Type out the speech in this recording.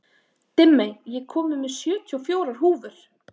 Dimmey, ég kom með sjötíu og fjórar húfur!